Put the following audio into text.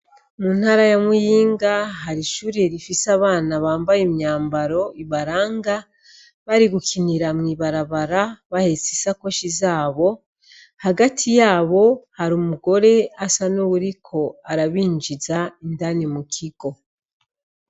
Mu ntara ya Muyinga hari ishure rifise abana bambaye imyambaro ibaranga bari gukinira mw'ibarabara bahetse isakoshi zabo. Hagati yabo hari umugore asa n'uwuriko arabinjiza indani mu kigo.